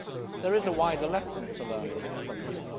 There is a wider lesson to learn from this.